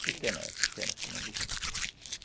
É pequena, é pequena a semente de juta.